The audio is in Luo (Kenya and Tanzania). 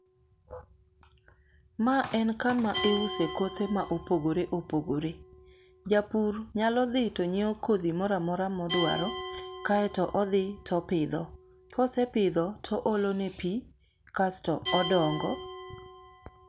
Ma en kama iuse kothe ma opogore opogore. Japur nyalo dhi to nyieo kodhi moramora moduaro kaeto odhi topidho. Kosepidho, to oolo ne pii, kasto odongo